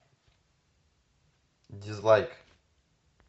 дизлайк